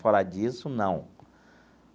Fora disso, não.